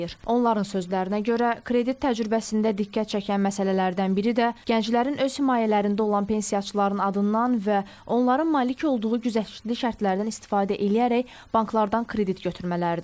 Onların sözlərinə görə, kredit təcrübəsində diqqət çəkən məsələlərdən biri də gənclərin öz himayələrində olan pensiyaçıların adından və onların malik olduğu güzəştli şərtlərdən istifadə eləyərək banklardan kredit götürmələridir.